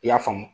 I y'a faamu